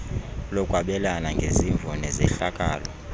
lokwabelana ngezimvo nezehlakalo